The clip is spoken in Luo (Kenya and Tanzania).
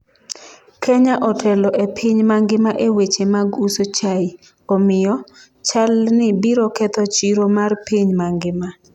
Kenya otelo e piny mangima e weche mag uso chai, omiyo, chalni biro ketho chiro mar piny mangima.